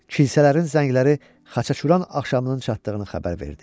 Kilsələrin zəngləri Xaçaçuran axşamının çatdığını xəbər verdi.